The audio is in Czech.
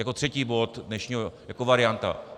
Jako třetí bod dnešního - jako varianta.